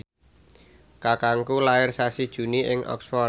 kakangku lair sasi Juni ing Oxford